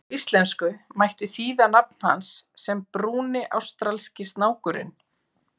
Á íslensku mætti þýða nafn hans sem Brúni ástralski snákurinn.